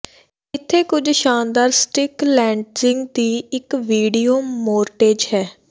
ਇੱਥੇ ਕੁਝ ਸ਼ਾਨਦਾਰ ਸਟਿਕ ਲੈਂਡਿੰਗਜ਼ ਦੀ ਇੱਕ ਵੀਡੀਓ ਮੋਰਟੇਜ ਹੈ